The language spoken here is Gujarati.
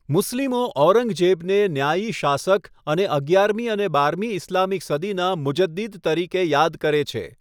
મુસ્લિમો ઔરંગઝેબને ન્યાયી શાસક અને અગિયારમી અને બારમી ઈસ્લામિક સદીના મુજદ્દિદ તરીકે યાદ કરે છે.